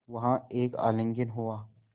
वहाँ एक आलिंगन हुआ